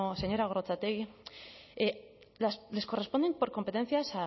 señora gorrotxategi les corresponden por competencias